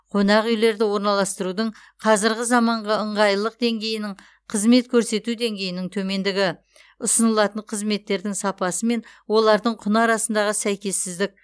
қонақүйлерді орналастырудың қазірғі заманғы ыңғайлылық деңгейінің қызмет көрсету деңгейінің төмендігі ұсынылатын қызметтердің сапасы мен олардың құны арасындағы сәйкессіздік